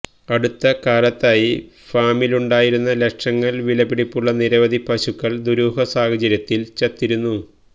അടുത്ത കാലത്തായി ഫാമിലുണ്ടായിരുന്ന ലക്ഷങ്ങൾ വില പിടിപ്പുള്ള നിരവധി പശുക്കൾ ദുരൂഹ സാഹചര്യത്തിൽ ചത്തിരുന്നു